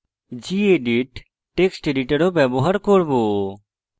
gedit text editor ও ব্যবহার করব